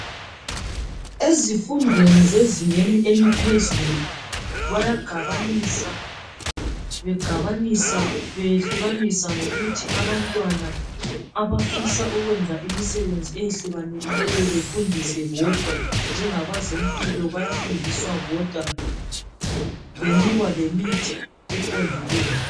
Ezifundweni zezingeni eliphezulu, bayagabanisa. Begabanisa, beyehlukanisa ngokuthi abantwana abafisa ukwenza imisebenzi eyahlukanileyo, befuhdiswe bodwa. Njengabazempilo bayafundiswa bodwa, benikwa lemithi eqondileyo.